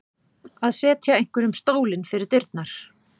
Að setja einhverjum stólinn fyrir dyrnar